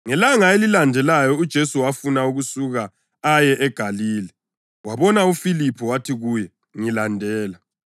Ngelanga elilandelayo uJesu wafuna ukusuka aye eGalile. Wabona uFiliphu wathi kuye, “Ngilandela.”